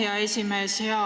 Aitäh, hea esimees!